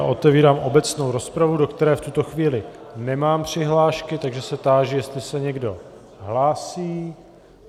A otevírám obecnou rozpravu, do které v tuto chvíli nemám přihlášky, takže se táži, jestli se někdo hlásí.